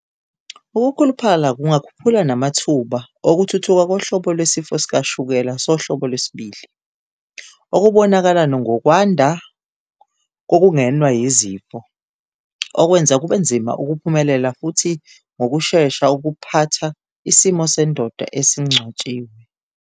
Ukukhuluphala kungakhuphula namathuba okuthuthuka kohlobo lwesifo sikashukela sohlobo II, olubonakala ngokwanda kokungenwa yizifo, okwenza kube nzima ukuphumelela futhi ngokushesha ukuphatha isimo sendoda esingcwatshiwe.